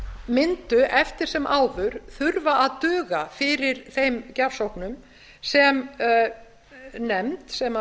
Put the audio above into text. mundu eftir sem áður þurfa að duga fyrir þeim gjafsóknum sem nefnd sem